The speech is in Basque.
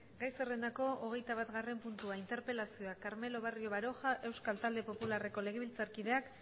gai zerrendako hogeita batgarrena puntua interpelazioa carmelo barrio baroja euskal talde popularreko legebiltzarkideak